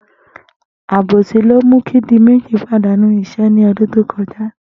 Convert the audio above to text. Àbòsí ni ó mú kí Diméjì pàdánù is̩é̩ ní o̩dún tó ko̩já